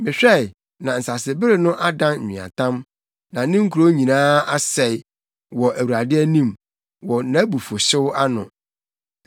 Mehwɛe, na nsasebere no adan nweatam na ne nkurow nyinaa asɛe wɔ Awurade anim, wɔ nʼabufuwhyew ano.